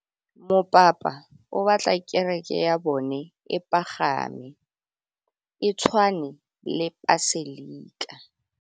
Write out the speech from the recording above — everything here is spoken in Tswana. Mopapa o batla kereke ya bone e pagame, e tshwane le paselika.